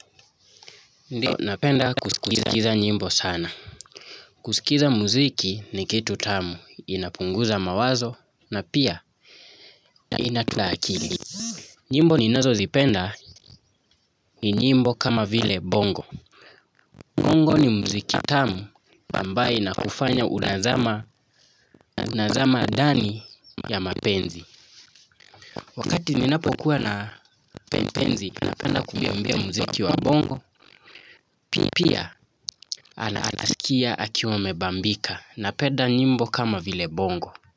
Ndiyo, napenda kusikiza nyimbo sana. Kusikiza muziki ni kitu tamu, inapunguza mawazo na pia inatlaakili. Nyimbo ninazozipenda ni nyimbo kama vile bongo. Bongo ni muziki tamu, ambaye inakufanya unazama ndani ya mapenzi. Wakati ninapo kuwa na mpenzi, napenda kumwiimbia muziki wa bongo, pia anasikia akiwa amebambika. Na peda nyimbo kama vile bongo.